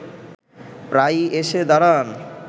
প্রায়ই এসে দাঁড়ান